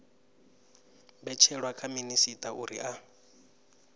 mbetshelwa kha minisita uri a